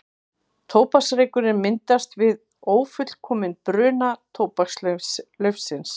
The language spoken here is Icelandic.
Tóbaksreykurinn myndast við ófullkominn bruna tóbakslaufsins.